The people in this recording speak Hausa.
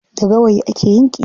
Da gawayi ake yin ƙira.